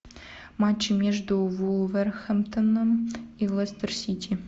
матчи между вулверхэмптоном и лестер сити